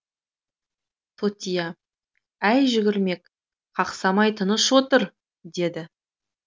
тотия әй жүгермек қақсамай тыныш отыр деді